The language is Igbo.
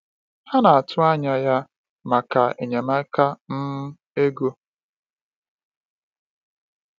Ha na-atụ anya ya maka enyemaka um ego.